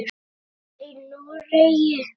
Það var í Noregi.